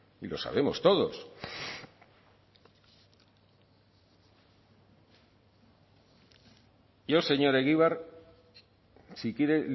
y lo sabemos todos yo señor egibar si quiere